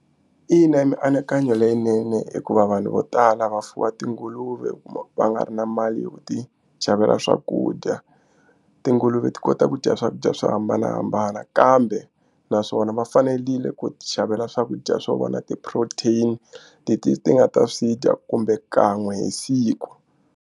Ina i mianakanyo leyinene hikuva vanhu vo tala va fuwa tinguluve kuma va nga ri na mali yo ti xavela swakudya. Tinguluve ti kota ku dya swakudya swo hambanahambana kambe naswona va fanerile ku ti xavela swakudya swo vona ti-protein ti ti ti nga ta swi dya kumbe kan'we hi siku.